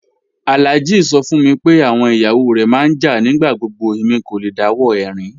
Alhaji sọ fún mí pé awọn iyawo rẹ má n jà nigbagbogbo, èmi kò lẹ̀ dáwọ̀ ẹ̀rin